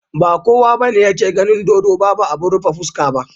Ba kowa bane yake ganin dodo Babu abun rufe fuska.